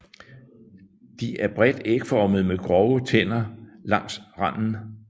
De er bredt ægformede med grove tænder langs randen